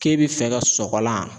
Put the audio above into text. K'e bi fɛ ka sɔgɔlan